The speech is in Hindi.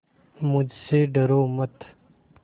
मुझसे डरो मत